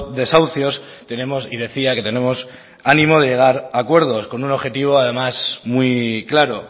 desahucios tenemos y decía que tenemos ánimo de llegar a acuerdos con un objetivo además muy claro